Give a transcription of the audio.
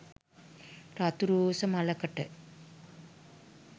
රතු රෝස මලකට,